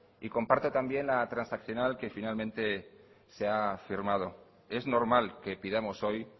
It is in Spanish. y comparto también la transaccional que finalmente se ha firmado es normal que pidamos hoy